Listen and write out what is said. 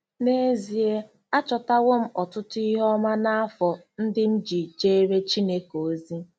N’ezie, achọtawo m ọtụtụ ihe ọma n’afọ ndị m ji jeere Chineke ozi.